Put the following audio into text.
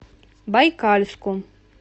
байкальску